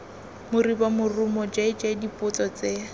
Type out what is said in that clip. moribo morumo jj dipotso tse